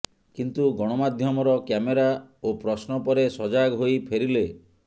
କିନ୍ତୁ ଗଣମାଧ୍ୟମର କ୍ୟାମେରା ଓ ପ୍ରଶ୍ନ ପରେ ସଜାଗ ହୋଇ ଫେରିଲେ